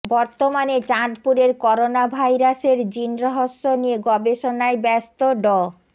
বর্তমানে চাঁদপুরের করোনা ভাইরাসের জিন রহস্য নিয়ে গবেষণায় ব্যস্ত ড